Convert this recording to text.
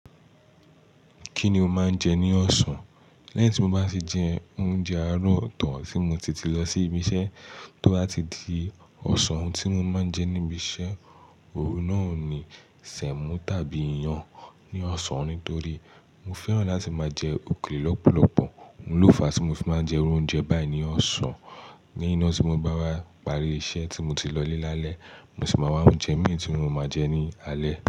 Kí ni o máa ń jẹ ní ọ̀sán? Lẹ́yìn tí mo bá sì jẹ oúnjẹ àárọ̀ tán tí mo ti ti lọ sí ibi iṣẹ́ tó bá ti di ọ̀sán. Ohun tí mo máa ń jẹ níbi iṣẹ́, òun náà ni semo tàbí iyán ní ọ̀sán nítorí mo fẹ́ràn láti máa jẹ òkèlè lọ́pọ̀lọpọ̀. Òun lófa tí mo fi máa ń jẹ oúnjẹ báyìí ní ọ̀sán léyìn na tí mo bá wá parí iṣẹ́ tí mo ti lọ lé lálẹ́, mo sì máa wá oúnjẹ mi tí mo máa jẹ ní alẹ́.